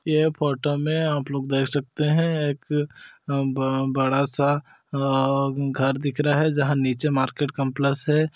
ये फोटो मे आप लोग देख सकते है एक अ बड़ा सा अअअ घर दिख रहा है जहाँ नीचे मार्केट कॉम्प्लेक्स है।